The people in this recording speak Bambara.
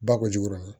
Ba ko jugu dɔrɔn